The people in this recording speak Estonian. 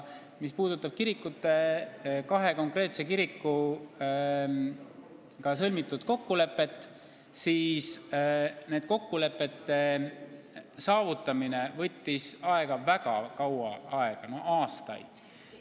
Mis puudutab kahe konkreetse kirikuga sõlmitud kokkuleppeid, siis nende saavutamine võttis väga kaua aega, lausa aastaid.